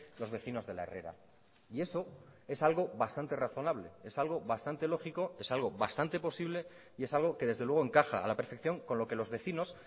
los vecinos de la herrera y eso es algo bastante razonable es algo bastante lógico es algo bastante posible y es algo que desde luego encaja a la perfección con lo que los vecinos